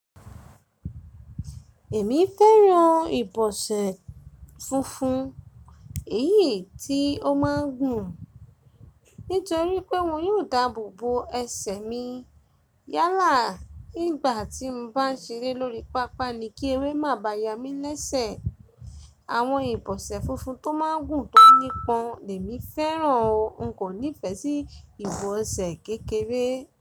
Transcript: Èmi fẹ́ràn ìbọsẹ̀ funfun, èyí tí ó máa ń gùn, nítorí pé wọn yóò dáàbò bo ẹsẹ̀ mi. Yálà, nígbà tí mo bá ń ṣeré lórí pápá ni kí eré má bá yá mi lésẹ̀. Àwọn ìbọsẹ̀ funfun tó máa ń gùn tó nípọn ni èmi fẹ́ràn o, n kò nífẹ́ sí ìbọsẹ̀ kékeré.